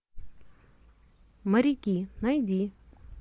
моряки найди